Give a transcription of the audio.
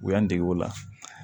U y'an dege o la